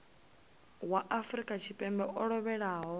wa afrika tshipembe o lovhelaho